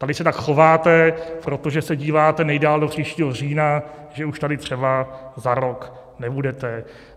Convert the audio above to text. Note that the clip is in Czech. Tady se tak chováte, protože se díváte nejdál do příštího října, že už tady třeba za rok nebudete.